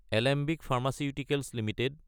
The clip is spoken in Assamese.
Alembic pharmaceuticals Ltd